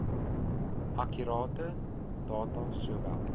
akkurate data sowel